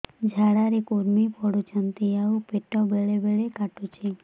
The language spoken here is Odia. ଝାଡା ରେ କୁର୍ମି ପଡୁଛନ୍ତି ଆଉ ପେଟ ବେଳେ ବେଳେ କାଟୁଛି